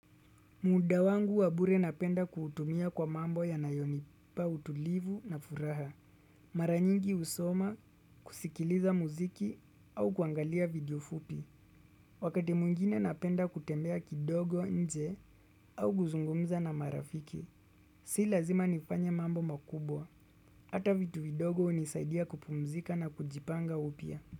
Muda wangu wabure napenda kuutumia kwa mambo yanayonipa utulivu na furaha. Maranyingi husoma kusikiliza muziki au kuangalia video fupi. Wakati mwngine napenda kutembea kidogo nje au kuzungumza na marafiki. Si lazima nifanye mambo makubwa. Hata vitu vidogo hunisaidia kupumzika na kujipanga upia.